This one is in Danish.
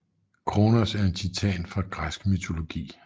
Kronos er en titan fra græsk mytologi